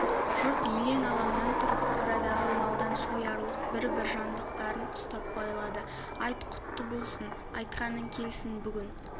жұрт елең-алаңнан тұрып қорадағы малдан соярлық бір-бір жандықтарын ұстап байлады айт құтты болсын айтқаның келсін бүгін